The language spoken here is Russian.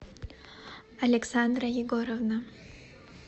александра егоровна